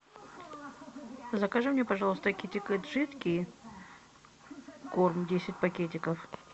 закажи мне пожалуйста китикет жидкий корм десять пакетиков